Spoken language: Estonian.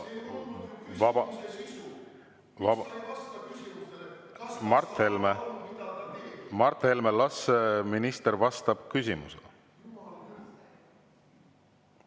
Mart Helme, las minister vastab küsimusele!